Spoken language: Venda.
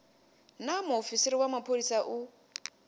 naa muofisi wa mapholisa u